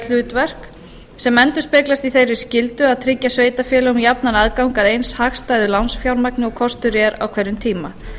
hlutverk sem endurspeglast í þeirri skyldu að tryggja sveitarfélögum jafnan aðgang að eins hagstæðu lánsfjármagni og kostur er á hverjum tíma